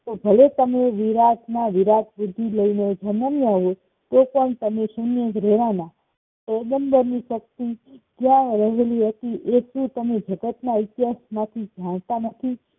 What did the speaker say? તો ભલે તમે વિરાટ માં વિરાટ બુદ્ધિ લઇ ને જન્મ્યા હોઈ તો પણ તમે શૂન્ય જ રેવા ના પેઈંગમ્બર ની શક્તિ ક્યાં રહેલી હતી એટલું તમે જગતના ઇતિહાસ માંથી જાણતા નથી